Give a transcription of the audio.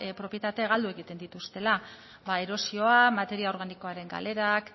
propietate galdu egiten dituztela ba erosioa materia organikoaren galerak